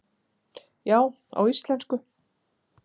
Já, á íslensku